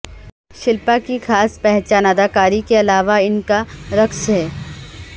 شلپا کی خاص پہچان اداکاری کے علاوہ ان کا رقص ہے